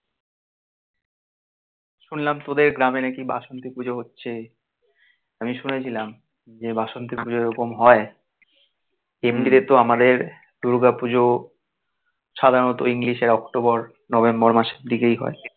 শুনলাম তোদের গ্রামে নাকি বাসন্তী পুজো হচ্ছে. আমি শুনেছিলাম যে বাসন্তী পুজো এরকম হয় এমনিতে তো আমাদের দূর্গা পুজো সাধারণত english এর অক্টোবর নভেম্বর মাসের দিকেই হয়